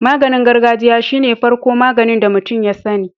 Maganin gargajiya shine farko magani da mutun ya sani